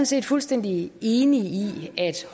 set fuldstændig enig i at